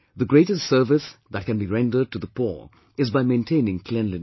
The greatest service that can be rendered to the poor is by maintaining cleanliness